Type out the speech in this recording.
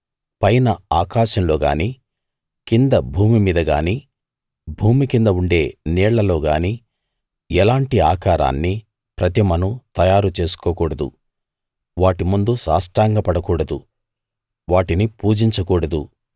పైన ఆకాశంలో గానీ కింద భూమి మీద గానీ భూమి కింద ఉండే నీళ్లలో గానీ ఎలాంటి ఆకారాన్నీ ప్రతిమను తయారు చేసుకోకూడదు వాటి ముందు సాష్టాంగపడ కూడదు వాటిని పూజించ కూడదు